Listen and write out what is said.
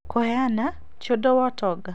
Kũheana tĩ ũndũ wa ũtonga